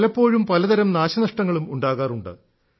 പലപ്പോഴും പലതരം നാശനഷ്ടങ്ങളും ഉണ്ടാകാറുണ്ട്